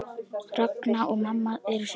Ragna og mamma eru systur.